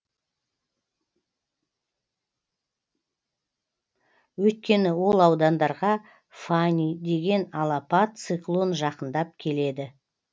өйткені ол аудандарға фани деген алапат циклон жақындап келеді